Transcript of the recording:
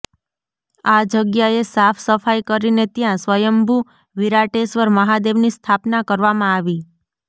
આ જગ્યાએ સાફ સફાઈ કરીને ત્યા સ્વયંભુ વિરાટેશ્વર મહાદેવની સ્થાપના કરવામાં આવી